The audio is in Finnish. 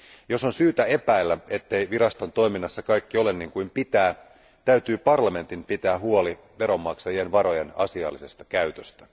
Jos on syytä epäillä, ettei viraston toiminnassa kaikki ole niin kuin pitää, täytyy parlamentin pitää huoli veronmaksajien varojen asiallisesta käytöstä.